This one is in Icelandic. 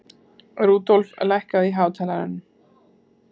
Rudolf, lækkaðu í hátalaranum.